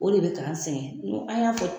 O de bɛ k'an sɛgɛn an y'a fɔ